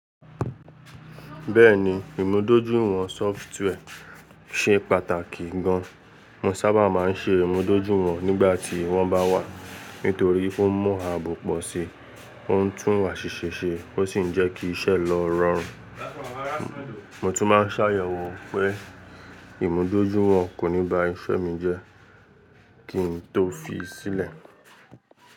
Bẹ́ẹ̀ni, ìmúdójúìwọ̀n sọfitùwẹ̀ ṣe pàtàkì gan. Mo sábà máa ń ṣe ìmúdójúìwọ̀n nígbà tí wọ́n bá wà nítorí ó ń mú aabọ́ pọ̀ sí, ó ń tún wa ṣiṣẹ́ ṣe, ó sì ń jẹ́ kí iṣẹ́ lọ rọrùn. Mo tún máa ń ṣàyẹ̀wò pé ìmúdójúìwọ̀n kò ní ba iṣẹ́ mi jẹ́ kí n tó fi í sílẹ̀.